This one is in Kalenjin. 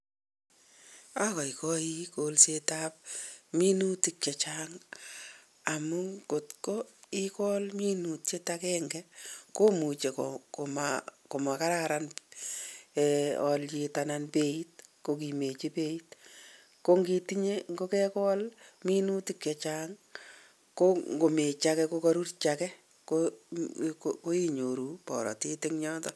Agaigai kolsetab minutik chechang amuu ngotkoikol minutiet agenge komuche koma ikaran alyet anan beit kokimechi beiit. Ko ngitinye kogekol minutik chechany kongomechi age kokarurji age ko inyoru baratet eng yoto.